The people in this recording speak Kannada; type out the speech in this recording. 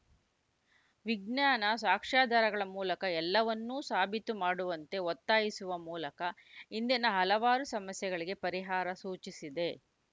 ವಿಜ್ಞಾನ ಸಾಕ್ಷ್ಯಾಧಾರಗಳ ಮೂಲಕ ಎಲ್ಲವನ್ನೂ ಸಾಬೀತು ಮಾಡುವಂತೆ ಒತ್ತಾಯಿಸುವ ಮೂಲಕ ಇಂದಿನ ಹಲವಾರು ಸಮಸ್ಯೆಗಳಿಗೆ ಪರಿಹಾರ ಸೂಚಿಸಿದೆ